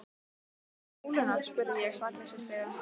Þessi með bóluna? spurði ég sakleysislega.